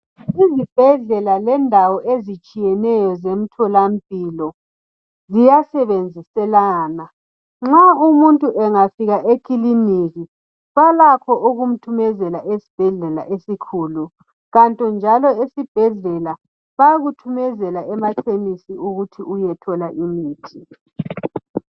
Izibhedlela lendawo ezitshiyeneyo zemtholampilo ziyasebenziselana , nxa umuntu engafika ekliniki balakho ukumthumezela esibhedlela esikhulu kanti njalo esibhedlela bayakuthumezela emakhemisi ukuthi uyothola umuthi